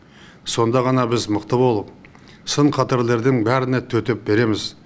сонда ғана біз мықты болып сын қатерлердің бәріне төтеп береміз